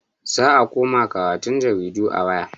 Za a koma karatun jaridu a waya.